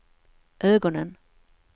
ögonen